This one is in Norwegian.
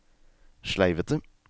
sleivete